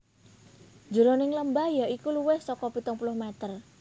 Jeroning lembah ya iku luwih saka pitung puluh meter